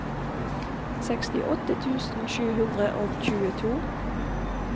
sekstiåtte tusen sju hundre og tjueto